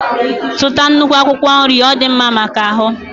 Zụta nnukwu akwụkwọ nri ọ dị mma maka ahụ